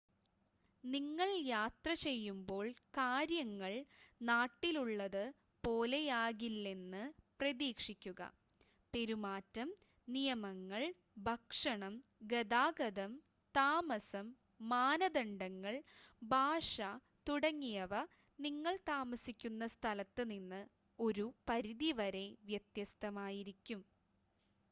"നിങ്ങൾ യാത്ര ചെയ്യുമ്പോൾ കാര്യങ്ങൾ "നാട്ടിൽ ഉള്ളത്" പോലെയാകിലെന്ന് പ്രതീക്ഷിക്കുക. പെരുമാറ്റം നിയമങ്ങൾ ഭക്ഷണം ഗതാഗതം താമസം മാനദണ്ഡങ്ങൾ ഭാഷ തുടങ്ങിയവ നിങ്ങൾ താമസിക്കുന്ന സ്ഥലത്ത് നിന്ന് ഒരു പരിധി വരെ വ്യത്യസ്തമായിരിക്കും.